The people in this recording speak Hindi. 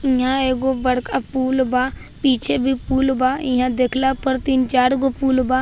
इहाँ एगो बड़का पुल बा पीछे भी पुल बा इहाँ देखला पर तीन चारगो पुल बा।